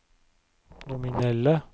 nominelle